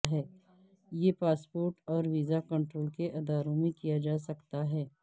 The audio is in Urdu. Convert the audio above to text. یہ پاسپورٹ اور ویزا کنٹرول کے اداروں میں کیا جا سکتا ہے